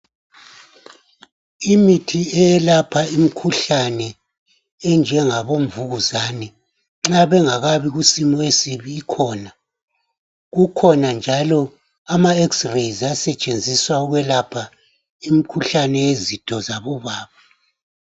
Imithi eyelapha imikhuhlane enjengabo mvukuzane nxa bengakabi kusimo esibi ikhona, kukhona njalo ama eksireyi asetshenziswa ukwelapha izitho zabobaba.